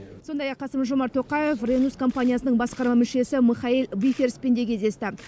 сондай ақ қасым жомарт тоқаев ренус компаниясының басқарма мүшесі михаэль виферспен де кездесті